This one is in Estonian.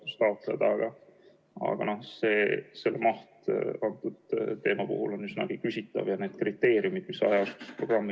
Kas selle muudatuse tulemusena, mida austatud keskkonnaminister Mölder on meile pakkunud, Kohila vald ehitab välja või ta vabaneb sellest kohustusest ja see suur rahaline väljaminek lükatakse tegelikult inimeste kaela?